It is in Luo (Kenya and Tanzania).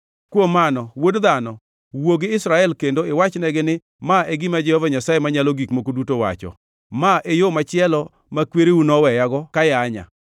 “Kuom mano, wuod dhano, wuo gi Israel kendo iwachnegi ni, ‘Ma e gima Jehova Nyasaye Manyalo Gik Moko Duto wacho: Ma e yo machielo ma kwereu noweyago kayanya: